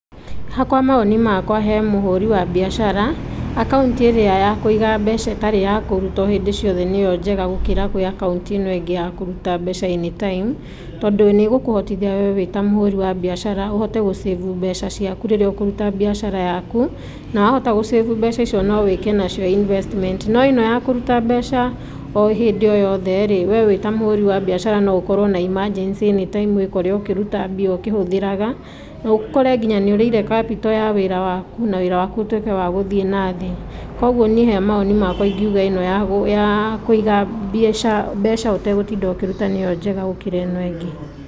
Ha kwa mawoni makwa he mũhũri wa biacara, akaunti ĩrĩa ya kũiga mbeca, ĩtarĩ ya kũrutwo hĩndĩ ciothe nĩyo njega gũkĩra kwĩ akaunti ĩno ĩngĩ ya kũruta mbeca anytime, tondũ nĩgũkũhotithia we wĩta mũhũri wa biacara ũhote gũ save mbeca ciaku rĩrĩa ũkũruta biacara yaku, nawahota gũ save mbeca icio nowĩke nacio investment, noĩno yakuruta mbeca o hĩndĩ o yothe rĩ, we wĩta mũhũri wa biacara no ũkorwo na emergency anytime wĩkore ũkĩruta mbia ũkĩhũthĩraga, naũkore nginya nĩũrĩire capital ya wĩra waku, na wĩra waku ũtuĩke wagũthiĩ na thĩ, kwoguo niĩ he mawoni makwa ingiuga ĩno yaaa, ya kũiga mbeca, mbeca ũtegũtinda ũkĩruta mbeca nĩyo njega gũkĩra ĩno ĩngĩ